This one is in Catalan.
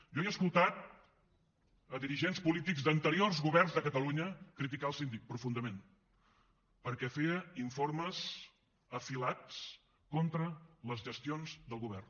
jo he escoltat a dirigents polítics d’anteriors governs de catalunya criticar el síndic profundament perquè feia informes afilats contra les gestions del govern